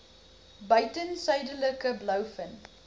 buiten suidelike blouvin